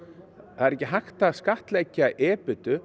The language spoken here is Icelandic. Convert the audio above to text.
það er ekki hægt að skattleggja